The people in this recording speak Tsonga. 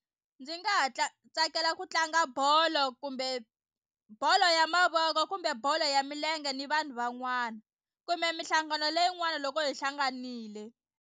Ndzi nga ha tsakela ku tlanga bolo kumbe bolo ya mavoko kumbe bolo ya milenge ni vanhu van'wana kumbe mihlangano leyin'wani loko hi hlanganile.